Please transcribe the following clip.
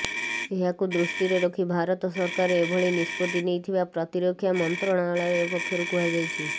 ଏହାକୁ ଦୃଷ୍ଟିରେ ରଖି ଭାରତ ସରକାର ଏଭଳି ନିଷ୍ପତ୍ତି ନେଇଥିବା ପ୍ରତିରକ୍ଷା ମନ୍ତ୍ରଣାଳୟ ପକ୍ଷରୁ କୁହାଯାଇଛି